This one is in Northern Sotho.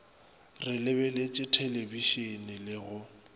re lebeletše thelebišene le go